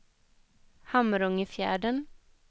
Hamrångefjärden